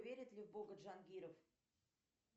верит ли в бога джангиров